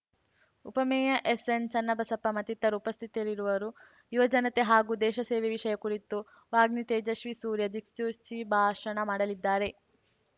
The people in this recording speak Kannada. ಉಪಮೇಯರ್‌ ಎಸ್‌ಎನ್‌ಚನ್ನಬಸಪ್ಪ ಮತ್ತಿತರರು ಉಪಸ್ಥಿತರಿರುವರು ಯುವ ಜನತೆ ಹಾಗೂ ದೇಶಸೇವೆ ವಿಷಯ ಕುರಿತು ವಾಗ್ಮಿ ತೇಜಸ್ವಿ ಸೂರ್ಯ ದಿಕ್ಸೂಚಿ ಭಾಷಣ ಮಾಡಲಿದ್ದಾರೆ